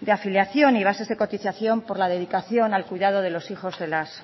de afiliación y de bases de cotización por la dedicación al cuidado de los hijos de las